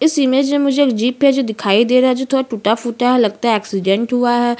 इस इमेज मे मुझे एक जीप है जो दिखाई दे रहा है जो थोड़ा टुटा-फूटा है और लगता है एक्सीडेंट हुआ है।